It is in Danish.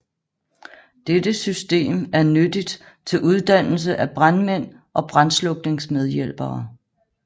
Dette system er nyttigt til uddannelse af brandmænd og brandslukningsmedhjælpere